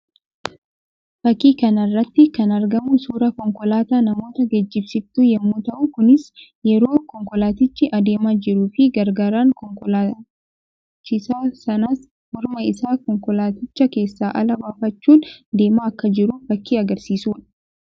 Fakkii kana irratti kan argamu suuraa konkolaataa namoota geejjibsiiftu yammuu ta'u; kunis yeroo konkolaatichi adeemaa jiruu fi gargaaraan konkolaachisaa sanaas morma isaa konkolaaticha keessaa ala baafachuun deemaa akka jiru fakkii agarsiisuu dha.